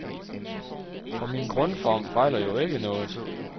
For min grundform fejler jo ikke noget.